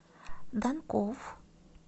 данков